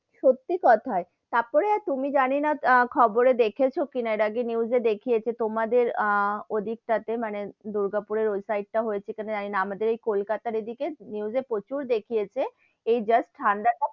সত্যি কোথায়, তারপরে তুমি জানি না আহ খবরে দেখেছো কি না, এর আগে news এ দেখিয়েছে, তোমাদের আহ ওদিকটাতে মানে দুর্গাপুরের ওই সাইড টা হয়েছে কি না জানি না, আমাদের এই কলকাতার এদিকে news এ প্রচুর দেখিয়েছে, এই news ঠান্ডা টা,